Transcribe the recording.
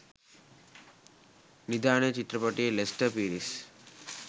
නිධානය චිත්‍රපටයේ ලෙස්ටර් පීරිස්